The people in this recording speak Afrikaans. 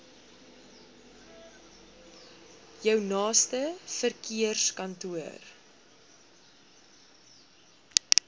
jou naaste verkeerskantoor